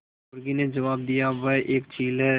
मुर्गी ने जबाब दिया वह एक चील है